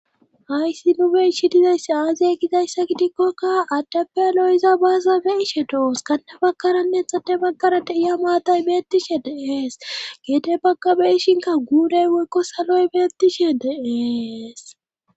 hayssi nuube ishi dizayssi aazey gizayssa gidikkokka addappealoyiza baaza be ishe dooos kande bakaranneexade baggara deiya maatay beettishe deees geede baggabeishinka guurey weekko saloy beettishe deees